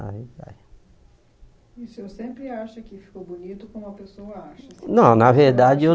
E o senhor sempre acha que ficou bonito como a pessoa acha? Não na verdade eu